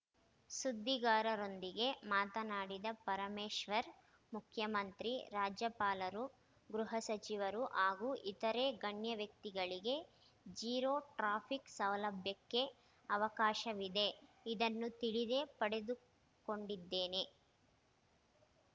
ಸುದ್ದಿಗಾರರೊಂದಿಗೆ ಮಾತನಾಡಿದ ಪರಮೇಶ್ವರ್‌ ಮುಖ್ಯಮಂತ್ರಿ ರಾಜ್ಯಪಾಲರು ಗೃಹ ಸಚಿವರು ಹಾಗೂ ಇತರೆ ಗಣ್ಯವ್ಯಕ್ತಿಗಳಿಗೆ ಜೀರೋ ಟ್ರಾಫಿಕ್‌ ಸೌಲಭ್ಯಕ್ಕೆ ಅವಕಾಶವಿದೆ ಇದನ್ನು ತಿಳಿದೇ ಪಡೆದುಕೊಂಡಿದ್ದೇನೆ